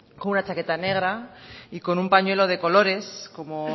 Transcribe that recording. con una chaqueta negra y con un pañuelo de colores como